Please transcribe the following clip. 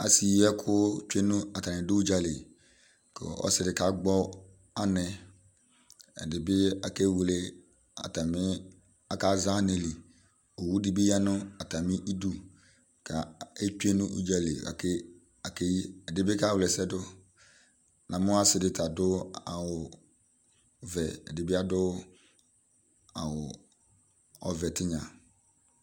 Asɩyɩɛkʋ tsʋe nʋ, atanɩ dʋ ʋdzǝlɩ ; kʋ ɔsɩ dɩ kagbɔ anɛ Ɛdɩnɩ bɩ akaza anɛ li owʋ dɩ bɩ ya nʋ atamɩ ɩdʋ, kʋ atsʋe nʋ ʋdzǝli, akeyi Edɩnɩ bɩ kawla ɛsɛ dʋ Amʋ ɔsɩ dɩ ta adʋ awʋvɛ, ɛdɩ bɩ adʋ awʋ ɔvɛtinya